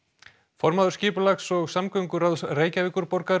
formaður skipulags og samgönguráðs Reykjavíkurborgar